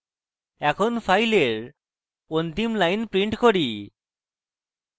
এখন file অন্তিম line print করি